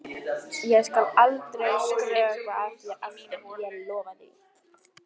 Ég skal aldrei skrökva að þér aftur, ég lofa því.